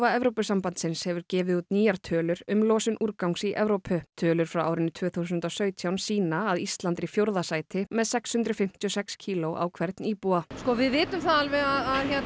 Evrópusambandsins hefur gefið út nýjar tölur um losun úrgangs í Evrópu tölur frá árinu tvö þúsund og sautján sýna að Ísland er í fjórða sæti með sex hundruð fimmtíu og sex kíló á hvern íbúa við vitum það alveg að